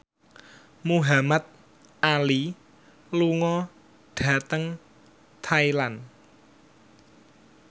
Muhamad Ali lunga dhateng Thailand